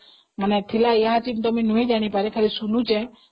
ଥିଲା ମାନେ, ମୁଁ ଜାଣିନି ଯାହା ଶୁଣିଛି